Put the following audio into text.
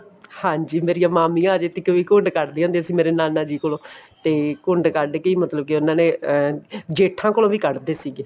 ਹਾਂਜੀ ਮੇਰੀਆਂ ਮਾਮੀਆਂ ਅਜੇ ਤੱਕ ਵੀ ਘੁੰਡ ਕੱਢ ਦੀਆਂ ਹੁੰਦੀਆ ਸੀ ਮੇਰੇ ਨਾਨਾ ਜੀ ਕੋਲੋਂ ਤੇ ਘੁੰਡ ਕੱਢ ਕੇ ਹੀ ਮਤਲਬ ਕੇ ਉਹਨਾ ਨੇ ਅਹ ਜੇਠਾਂ ਕੋਲ ਵੀ ਕੱਢ ਦੇ ਸੀਗੇ